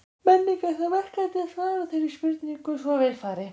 Menning er það verkefni að svara þeirri spurningu svo vel fari.